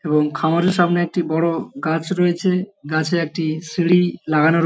এবং খামারের সামনে একটি বড় গাছ রয়েছে গাছে একটি সিঁড়ি লাগানো।